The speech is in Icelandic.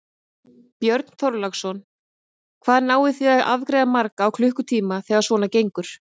Björn Þorláksson: Hvað náið þið að afgreiða marga á klukkutíma þegar svona gengur?